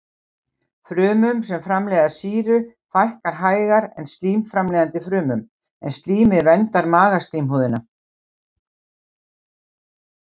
Frumum sem framleiða sýru fækkar hægar en slím-framleiðandi frumum, en slímið verndar magaslímhúðina.